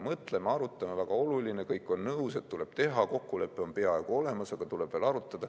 Mõtleme, arutame, väga oluline, kõik on nõus, et tuleb teha, kokkulepe on peaaegu olemas, aga tuleb veel arutada.